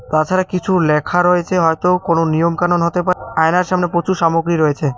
তাছাড়া কিছু লেখা রয়েছে হয়তো কোনো নিয়ম কানুন হতে পারে আয়নার সামনে প্রচুর সামগ্রী রয়েছে।